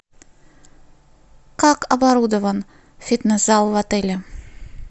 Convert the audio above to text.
как оборудован фитнес зал в отеле